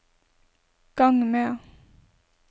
gang med